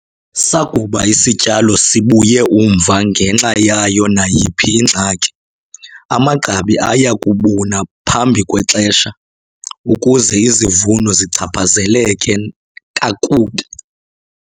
Sakuba isityalo sibuye umva ngenxa yayo nayiphi ingxaki, amagqabi aya kubuna phambi kwexesha, ukuze izivuno zichaphazeleke kakubi.